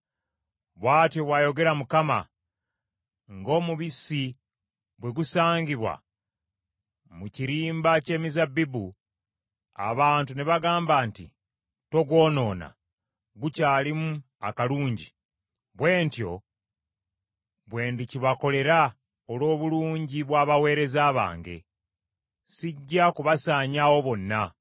Bw’atyo bw’ayogera Mukama : “Ng’omubisi bwe gusangibwa mu kirimba ky’emizabbibu abantu ne bagamba nti, ‘Togwonoona, gukyalimu akalungi,’ bwe ntyo bwe ndikibakolera olw’obulungi bw’abaweereza bange. Sijja kubasaanyaawo bonna.